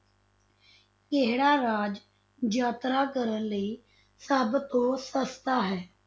ਕਿਹੜਾ ਰਾਜ ਯਾਤਰਾ ਕਰਨ ਲਈ ਸਭ ਤੋਂ ਸਸਤਾ ਹੈ?